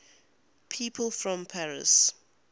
people from paris